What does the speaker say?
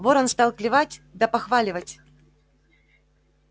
ворон стал клевать да похваливать